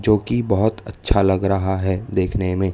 जो कि बहुत अच्छा लग रहा है देखने में।